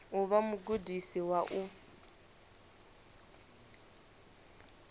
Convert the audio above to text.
u vha mugudisi wa u